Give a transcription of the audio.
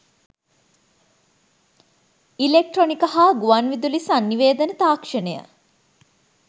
ඉලෙක්ට්‍රොනික හ‍ා ගුවන්විදුලි සන්නි‍වේදන තාක්‍ෂණය